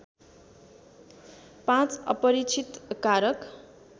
५ अपरीक्षित कारक